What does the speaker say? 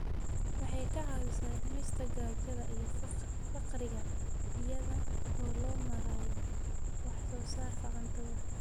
Waxay ka caawisaa dhimista gaajada iyo faqriga iyada oo loo marayo wax soo saarka cuntada.